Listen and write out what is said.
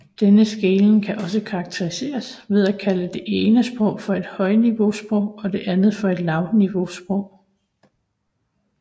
Denne skelnen kan også karakteriseres ved at kalde det ene sprog for et højniveausprog og det andet for et lavniveausprog